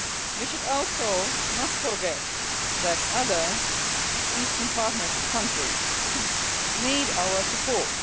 We should also not forget that other Eastern Partnership countries need our support.